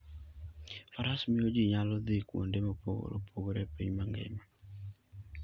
Faras miyo ji nyalo dhi kuonde mopogore opogore e piny mangima.